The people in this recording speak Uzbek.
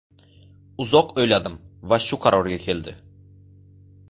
Uzoq o‘yladim va shu qarorga keldi.